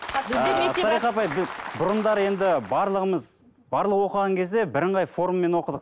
салиха апай біз бұрындары енді барлығымыз барлығы оқыған кезде бірыңғай формамен оқыдық